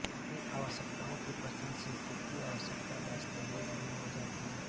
इन आवश्यकताओं की पहचान स्वीकृत आवश्यक दस्तावेज़ में हो जाती है